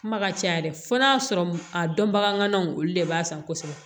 Kuma ka ca yɛrɛ fo n'a sɔrɔ a dɔn bagan ŋanaw olu de b'a san kosɛbɛ